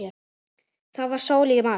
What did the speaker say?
Það var sól í mars.